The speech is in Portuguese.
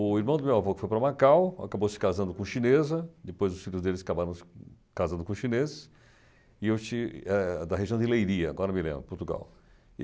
O irmão do meu avô, que foi para Macau, acabou se casando com chinesa, depois os filhos deles acabaram se casando com chineses, e eu tive eh da região de Leiria, agora me lembro, Portugal.